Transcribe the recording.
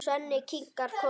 Svenni kinkar kolli.